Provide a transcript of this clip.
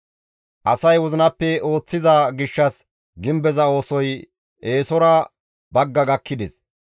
Asay wozinappe ooththiza gishshas gimbeza oosoy eesora bagga gakkides.